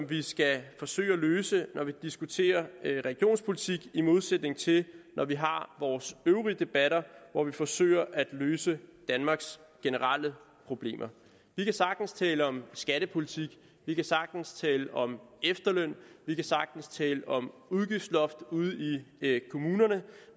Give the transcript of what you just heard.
vi skal forsøge at løse når vi diskuterer regionspolitik i modsætning til når vi har vores øvrige debatter hvor vi forsøger at løse danmarks generelle problemer vi kan sagtens tale om skattepolitik vi kan sagtens tale om efterløn vi kan sagtens tale om udgiftsloft ude i kommunerne